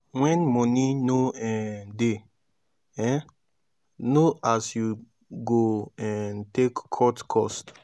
when money no um de um no as you go um take cut cost